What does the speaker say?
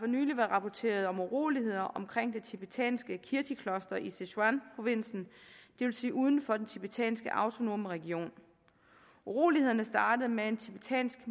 nylig været rapporteret om uroligheder omkring det tibetanske kirtikloster i sichuanprovinsen det vil sige uden for den tibetanske autonome region urolighederne startede med en tibetansk